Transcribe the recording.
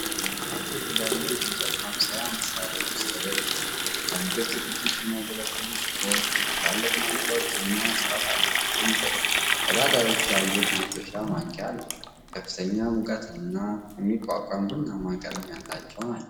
አራት የተለያዩ የእንጨት ማብሰያ መሳሪያዎች ተደርድረዋል። ለምግብ ዝግጅት የሚያገለግሉ ሲሆን ትላልቅ ማንኪያዎችና ስፓታላዎች ይገኙበታል። ቀዳዳዎች ያለው የመጥበሻ ማንኪያ አለ። ከፍተኛ ሙቀትን የሚቋቋሙ ቡናማ ቀለም ያላቸው ናቸው።